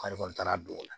K'ale kɔni taara don o la